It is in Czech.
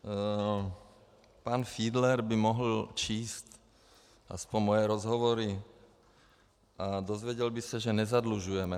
Pan Fiedler by mohl číst aspoň moje rozhovory a dozvěděl by se, že nezadlužujeme.